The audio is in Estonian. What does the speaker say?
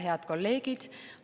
Head kolleegid!